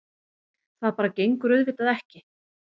Það bara gengur auðvitað ekki.